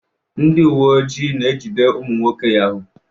Ndị uwe ojii na-ejide ụmụ nwoke Yahoo.